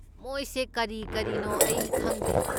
ꯃꯣꯏꯁꯦ ꯀꯔꯤ ꯀꯤꯔꯤꯅꯣ ꯑꯩ ꯈꯪꯗꯦ꯫